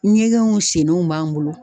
Ɲɛgɛnw sennenw b'an bolo